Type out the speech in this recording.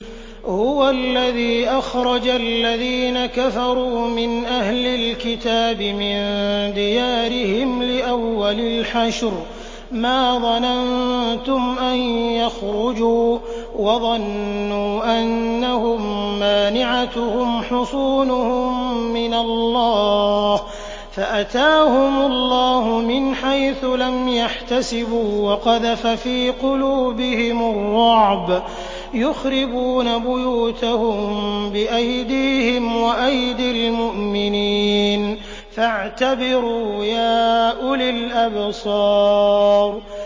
هُوَ الَّذِي أَخْرَجَ الَّذِينَ كَفَرُوا مِنْ أَهْلِ الْكِتَابِ مِن دِيَارِهِمْ لِأَوَّلِ الْحَشْرِ ۚ مَا ظَنَنتُمْ أَن يَخْرُجُوا ۖ وَظَنُّوا أَنَّهُم مَّانِعَتُهُمْ حُصُونُهُم مِّنَ اللَّهِ فَأَتَاهُمُ اللَّهُ مِنْ حَيْثُ لَمْ يَحْتَسِبُوا ۖ وَقَذَفَ فِي قُلُوبِهِمُ الرُّعْبَ ۚ يُخْرِبُونَ بُيُوتَهُم بِأَيْدِيهِمْ وَأَيْدِي الْمُؤْمِنِينَ فَاعْتَبِرُوا يَا أُولِي الْأَبْصَارِ